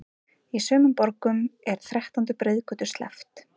Í sumum borgum er þrettándu breiðgötu sleppt.